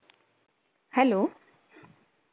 Hello